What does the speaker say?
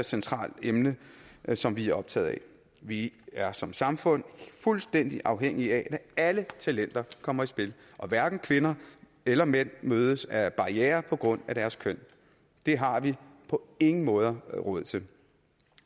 centralt emne som vi er optaget af vi er som samfund fuldstændig afhængige af at alle talenter kommer i spil og at hverken kvinder eller mænd mødes af barrierer på grund af deres køn det har vi på ingen måde råd til